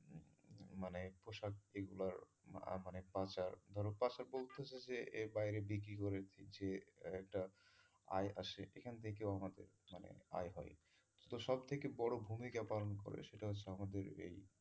এইগুলার মানে পাচার ধরো বলতেছে যে এর বাইরে বিক্রি করে দিছে একটা আয় আসে এখান থেকেও আমাদের মানে আয় হয় তো সব থেকে বড় ভুমিকা পালন করে সেটা হচ্ছে আমাদের এই,